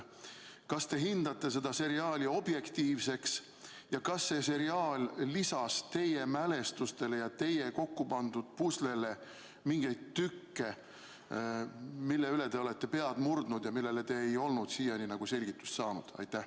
Kas te peate seda seriaali objektiivseks ja kas see seriaal lisas teie mälestustele ja teie kokku pandud puslele mingeid tükke, mille üle te olete pead murdnud ja millele te ei olnud siiani selgitust saanud?